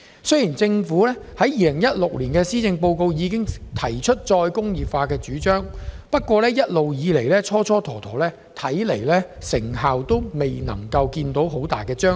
雖然政府早在2016年的施政報告已提出再工業化的主張，但一直蹉跎時間，未見顯著成效。